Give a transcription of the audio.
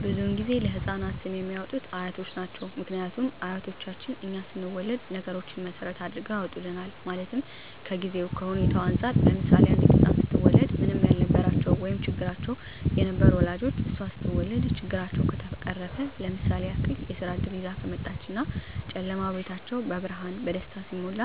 ብዙዉን ጊዜ ለህፃናት ስም የሚያወጡት አያት ናቸዉ ምክንያቱም አያቶቻችን እኛ ስንወለድ ነገሮች መሰረት አድርገዉ ያወጡልናል ማለትም ከጊዜዉ ከሁኔታዉ እንፃር ለምሳሌ አንዲት ህፃን ስትወለድ ምንም ያልነበራቸዉ ወይም ቸግሯቸዉ የነበሩ ወላጆቿ እሷ ስትወለድ ችግራቸዉ ከተፈቀረፈ ለምሳሌ ያክል የስራ እድል ይዛ ከመጣች እና ጨለማዉ ቤታቸዉ በብርሃን በደስታ ሲሞላ